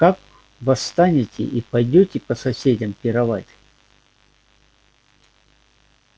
а как восстанете и пойдёте по соседям пировать